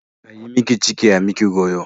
Ai miki ciki ai miki goyo.